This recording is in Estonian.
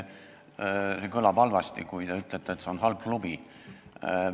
Kõlab halvasti, kui te ütlete, et see on halb klubi.